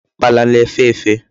Ukpala na-efe efe